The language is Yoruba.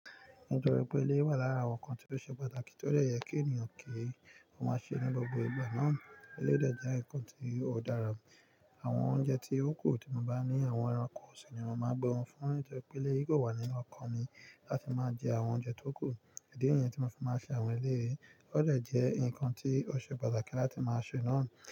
Nitori pe eleyi wà lára àwọn ǹkan tí ó ṣe pàtàkì tí ó dẹ yẹ kí ènìyàn kí ó má ṣe ní gbogbo ìgbà náà Eleyi dẹ jẹ́ ǹkan tí ó dára. Àwọn oúnjẹ tí ó kù tì mo bá ní àwọn ẹranko si ni mo máa n gbé wọn fún un. Nitori pe eleyi kò wà nínú ọkàn mi láti máa jẹ àwọn oúnjẹ tó kù. Idi ni yẹn tí mo fi máa ṣe àwọn eleyi ó dẹ jẹ́ ǹkan tí ó ṣe pàtàkì láti máa ṣe náà.